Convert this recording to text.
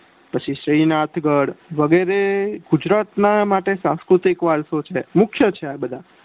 પછી શ્રીનાથ ગઢ વગેરે ગુજરાત માટે સાંસ્કૃતિક વારસો છે મુખ્ય છે આ બધા